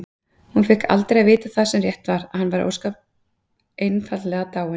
Hún fékk aldrei að vita það sem rétt var: að hann væri ósköp einfaldlega dáinn.